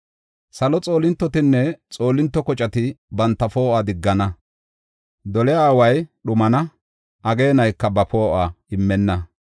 Salo xoolintotinne xoolinto koceti banta poo7uwa diggana; doliya away dhumana; ageenayka ba poo7uwa immenna.